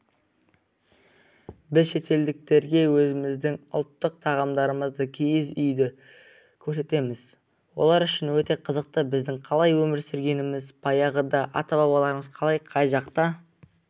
біз шетелдіктерге өзіміздің ұлттық тағамдарымызды киіз үйді көрсетеміз олар үшін өте қызықты біздің қалай өмір сүргеніміз баяғыда ата-бабаларымыз қалай қай жақта